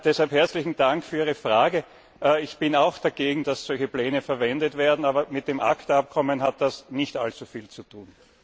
Deshalb herzlichen Dank für Ihre Frage. Ich bin auch dagegen, dass solche Pläne verwendet werden, aber mit dem ACTA Abkommen hat das nicht allzu viel zu tun.